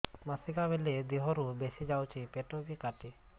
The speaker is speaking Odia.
ମାସିକା ବେଳେ ଦିହରୁ ବେଶି ଯାଉଛି ପେଟ ବି କାଟେ